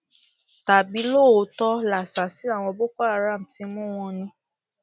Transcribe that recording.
um tàbí lóòótọ làṣàsí àwọn boko haram ti mú wọn ni